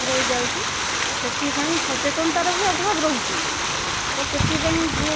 ରହିଯାଉଛି ସେଥିପାଇଁ ସଚେତନତା ର ବି ଅଭାବ ରହୁଛି ତା ସେଥିପାଇଁ